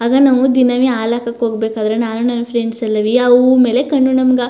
ಆಗ ನಾವು ದಿನ ವಿ ಹಾಲು ಹಾಕಕ್ಕೆ ಹೋಗ್ಬೇಕಾದ್ರೆ ನಾನು ನನ್ ಫ್ರೆಂಡ್ಸ್ ಎಲ್ಲವಿ ಆ ಹೂ ಮೇಲೆ ಕಣ್ಣು ನಮಗ.